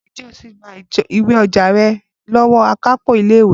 Ǹjẹ́ o ti gba ìwé-ọjà rẹ̀ lọ́wọ́ akápò ilé ìwé?